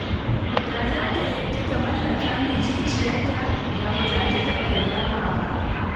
Da za ta yadda ta mallaka min zuciyarta, da ba za ta taɓa nadama ba